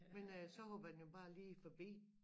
Men øh så hopper den jo bare lige forbi